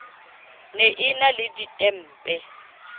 ne e na le ditempe